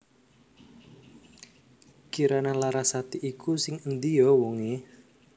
Kirana Larasati iku sing endi yo wong e?